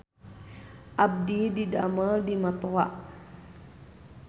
Abdi didamel di Matoa